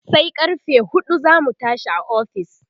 sai karfe huɗu zamu tashi a ofis